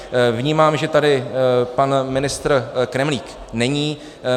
Vnímám, že tady pan ministr Kremlík není.